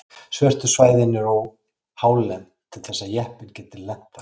Svörtu svæðin eru of hálend til þess að jeppinn geti lent þar.